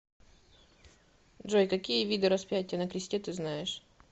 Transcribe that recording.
джой какие виды распятие на кресте ты знаешь